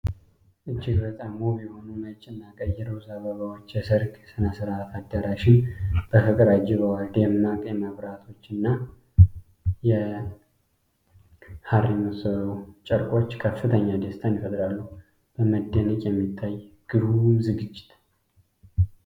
እጅግ በጣም ውብ የሆኑ ነጭ እና ቀይ ሮዝ አበባዎች የሠርግ ሥነ ሥርዓት አዳራሽን በፍቅር አጅበዋል። ደማቅ መብራቶችና ሐር የመሰሉ ጨርቆች ከፍተኛ ደስታን ይፈጥራሉ። በመደነቅ የሚታይ ግሩም ዝግጅት!